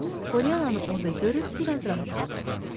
Polyananı orda görüb biraz rahatladı.